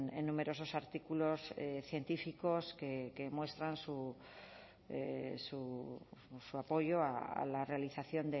en numerosos artículos científicos que muestran su apoyo a la realización